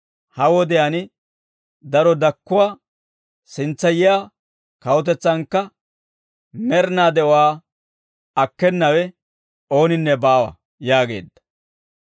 ha wodiyaan daro dakkuwaa, sintsa yiyaa kawutetsaankka med'inaa de'uwaa akkenawe ooninne baawa» yaageedda.